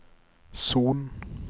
Son